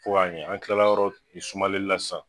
Fo ka ɲɛ, an kilala yɔrɔ sumalenli la sisan